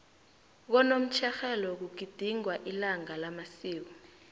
konomtjherhelo kugidingwa ilanga lamasiko